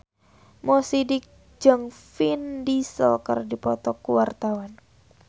Mo Sidik jeung Vin Diesel keur dipoto ku wartawan